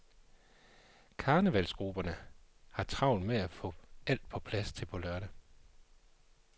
Karnevalsgrupperne har travlt med at få alt på plads til på lørdag.